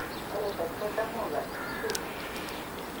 ребекка замоло ютьюб